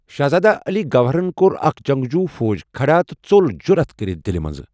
شہزادہ علی گوہرن كوٚر اكھ جنگجوٗ فوج کھڑا تہٕ ژوٚل جُرعت كٔرِتھ دِلہِ منزٕ۔